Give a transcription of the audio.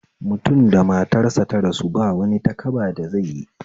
Mutum da matar sa ta rasu bawani takaba da zaiyi